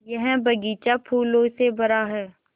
यह बग़ीचा फूलों से भरा है